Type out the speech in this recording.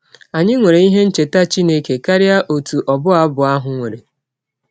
Anyị nwere ihe ncheta Chineke karịa ọtụ ọbụ abụ ahụ nwere.